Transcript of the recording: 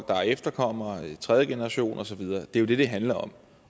er efterkommere tredje generation og så videre det det det handler om